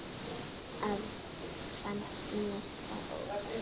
Mér fannst það óþarfi.